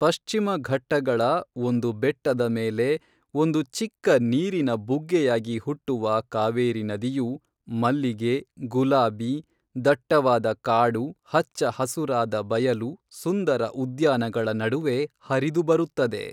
ಪಶ್ಚಿಮ ಘಟ್ಟಗಳ ಒಂದು ಬೆಟ್ಟದ ಮೇಲೆ ಒಂದು ಚಿಕ್ಕ ನೀರಿನ ಬುಗ್ಗೆಯಾಗಿ ಹುಟ್ಟುವ ಕಾವೇರಿ ನದಿಯು ಮಲ್ಲಿಗೆ ಗುಲಾಬಿ ದಟ್ಟವಾದ ಕಾಡು ಹಚ್ಚ ಹಸುರಾದ ಬಯಲು ಸುಂದರ ಉದ್ಯಾನಗಳ ನಡುವೆ ಹರಿದು ಬರುತ್ತದೆ